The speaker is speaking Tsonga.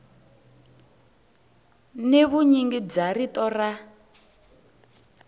ni vunyingi bya rito ra